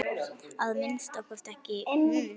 Að minnsta kosti ekki hún.